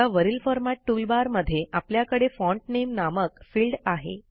आता वरील format toolbar मध्ये आपल्याकडे फॉन्ट नामे नामक फिल्ड आहे